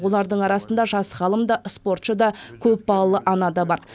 олардың арасында жас ғалым да спортшы да көпбалалы ана да бар